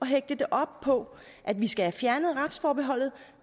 hægte det op på at vi skal fjerne retsforbeholdet